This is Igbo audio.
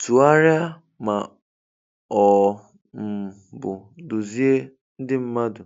Tụgharịa ma ọ um bụ dozie ndị mmadụ,